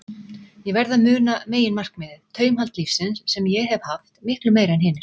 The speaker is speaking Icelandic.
Ég verð að muna meginmarkmiðið: taumhald lífsins, sem ég hef haft, miklu meira en hinir.